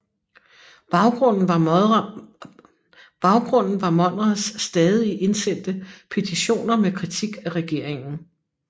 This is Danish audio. Baggrunden var Monrads stadig indsendte petitioner med kritik af regeringen